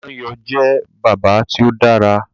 Dan yóò jẹ bàbá tí o dára